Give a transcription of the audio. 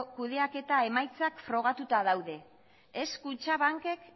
kudeaketa emaitzak frogatuta daude ez kutxabank ek